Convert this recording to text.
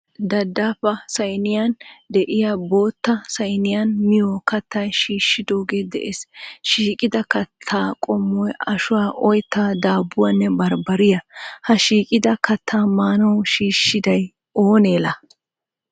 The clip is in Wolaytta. Daddaappa saayinniyan de'iya bootta saayinniyan miyo kaatta shiishshidooge de'ees. Shiiqida kaatta qommoy ashshuwa, oyittaa, daabuwaanne baaribariya. Ha shiiqida kaatta maanawu shishshidayi oone la?